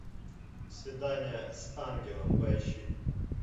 свидание с ангелом поищи